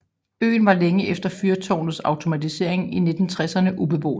Øen var længe efter fyrtårnets automatisering i 1960erne ubeboet